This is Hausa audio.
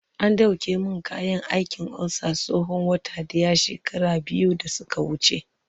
an dauke min kayan aikin ulcer tsawon wata daya shekara biyu da suka wuce